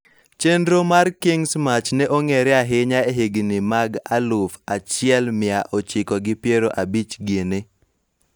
Chenro mar King's march ne ong'ere ahinya e higni mag aluf achiel mia ochiko gi pier abich gini